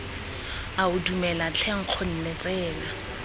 ao dumela tlhe nkgonne tsena